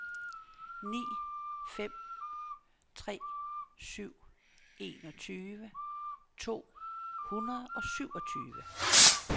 ni fem tre syv enogtyve to hundrede og syvogtyve